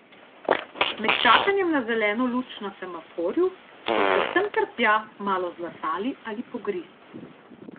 Med čakanjem na zeleno luč na semaforju so se sem ter tja malo zlasali ali pogrizli.